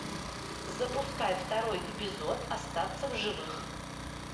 запускай второй эпизод остаться в живых